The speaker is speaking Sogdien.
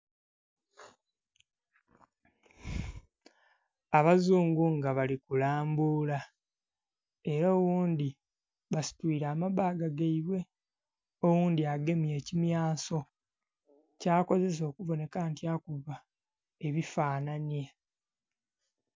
Abazungu nga bali kulambula era oghundhi basitwire amabbaga gaibwe oghundhi agemye ekimyanso kyakozesa okubonheka nti akuba ebifananhye.